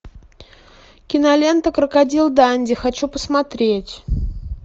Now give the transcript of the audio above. кинолента крокодил данди хочу посмотреть